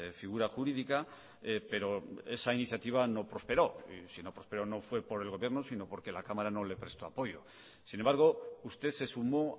figura jurídica pero esa iniciativa no prosperó y si no prosperó no fue por el gobierno sino porque la cámara no le prestó apoyo sin embargo usted se sumó